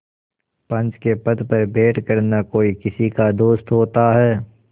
पंच के पद पर बैठ कर न कोई किसी का दोस्त होता है